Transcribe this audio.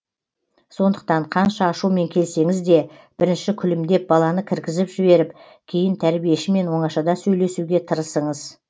сондықтан қанша ашумен келсеңіз де бірінші күлімдеп баланы кіргізіп жіберіп кейін тәрбиешімен оңашада сөйлесуге тырысыңыз